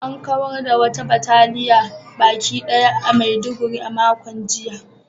An kawar da wata bataliya baki ɗaya a Maiduguri a makon jiya